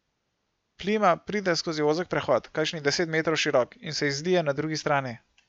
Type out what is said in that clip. Plima pride skozi ozek prehod, kakšnih deset metrov širok, in se izlije na drugi strani.